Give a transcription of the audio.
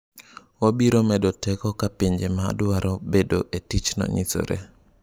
Wabiro medo teko ka pinje ma dwaro bedo e tichno nyisore.